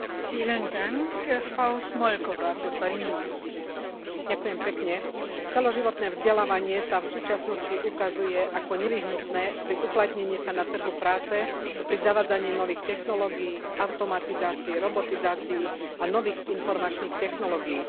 Vážená pani predsedajúca, celoživotné vzdelávanie sa v súčasnosti ukazuje ako nevyhnutné pri uplatnení sa na trhu práce, pri zavádzaní nových technológii, automatizácii, robotizácii a nových informačných technológií.